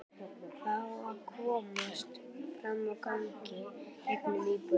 Fá að komast fram á gang í gegnum íbúðina.